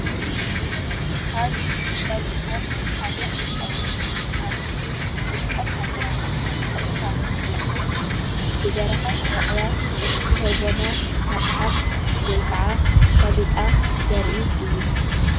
እዚ ምስሊ ካብ ጋዜጣታት ሓደ እንትከውን አርእስቱ ውድቀት ሃገራትን ጠንቁታቱን ናይ ዝብል ብበረከት ዕቅበ ዝተተርጎመ መፅሓፍ ወይ ክዓ ጋዜጣ ዘርኢ እዩ፡፡